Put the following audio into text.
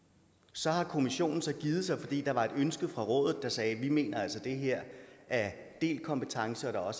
så har kommissionen så givet sig fordi der var et ønske fra rådet der sagde vi mener altså at det her er delt kompetence og